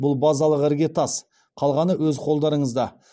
бұл базалық іргетас қалғаны өз қолдарыңызда